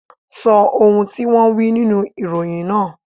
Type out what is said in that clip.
Sọ ohun tí wón wí nínú ìròyìn náà.